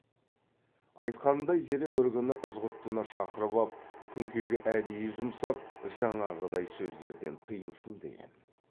айтқанындай зере бір күні ызғұттыны шақырып ап күнкеге әдейі жұмсап жаңағыдай сөздерден тыйылсын деген